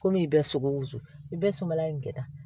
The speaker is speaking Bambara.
Komi i bɛ sogo wusu i bɛɛ sumana in kɛ tan